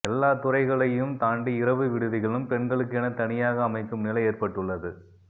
எல்லாத்துறைகளையும் தாண்டி இரவு விடுதிகளும் பெண்களுக்கென தனியாக அமைக்கும் நிலை ஏற்பட்டுள்ளது